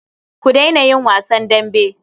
Ku daina yin wasan dambe.